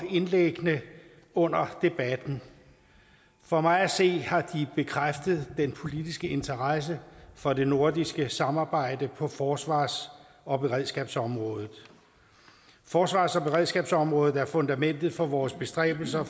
for indlæggene under debatten for mig at se har de bekræftet den politiske interesse for det nordiske samarbejde på forsvars og beredskabsområdet forsvars og beredskabsområdet er fundamentet for vores bestræbelser